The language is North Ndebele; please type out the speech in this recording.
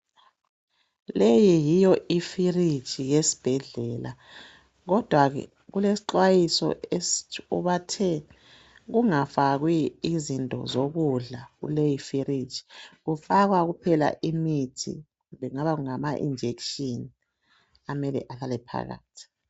Leyi yiyo iFirigi yesibhedlela. Kodwa ke kulesixhwayiso esithi bathe ungafakwi into zokudla. Kufakwa kuphela imithi kumbe kungaba ngama- injection okumele kufakwe phakathi